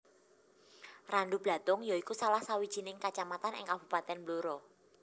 Randublatung ya iku salah sawijining kacamatan ing Kabupatèn Blora